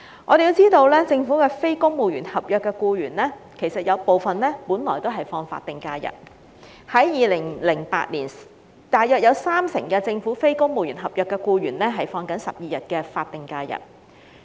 我們要知道，政府部分非公務員合約僱員原本也只是放取法定假日，在2008年大約有三成政府非公務員合約僱員放取12天的法定假日。